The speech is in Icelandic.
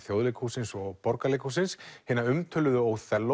Þjóðleikhússins og Borgarleikhússins hina umtöluðu